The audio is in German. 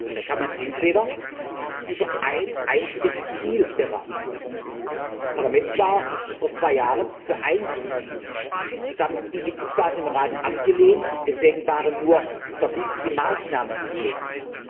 Da kann man entweder über ein einziges Ziel beraten Das Parlament war vor zwei Jahren für ein Ziel, das haben die Mitgliedstaaten im Rat abgelehnt. Deswegen waren nur verbindliche Maßnahmen möglich.